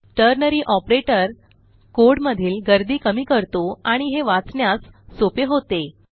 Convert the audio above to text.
ternary operator code मधील गर्दी कमी करतो आणि हे वाचण्यास सोपे होते